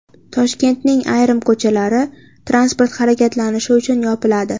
Toshkentning ayrim ko‘chalari transport harakatlanishi uchun yopiladi.